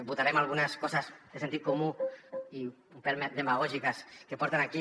votarem algunes coses de sentit comú i un pèl demagògiques que porten aquí